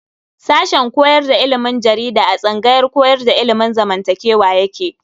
Sashen koyar da ilimin jarida a tsangayar koyar da ilimin zamantakewa yake.